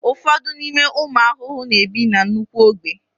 ụfọdụ n'ime ụmụ ahụhụ na-ebi na nnukwu ogbe